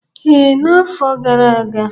Ee, n'afọ gara aga.